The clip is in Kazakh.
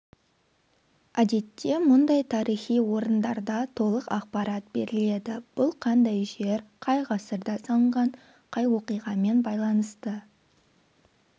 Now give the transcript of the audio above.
әдетте мұндай тарихи орындарда толық ақпарат беріледі бұл қандай жер қай ғасырда салынған қай оқиғамен байланысты